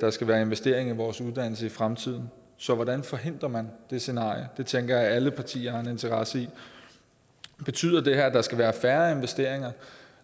der skal være investering i vores uddannelse i fremtiden så hvordan forhindrer man det scenarie det tænker jeg at alle partierne interesse i betyder det her at der skal være færre investeringer